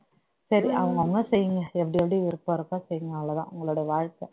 சரி அவங்க அவங்க செய்யுங்க எப்படி எப்படி விருப்பம் இருக்கோ செய்யுங்க அவ்வளவுதான் உங்களோட வாழ்க்கை